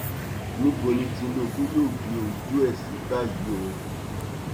níbo ni tinubu yóò gbé ojú ẹ sí báyìí o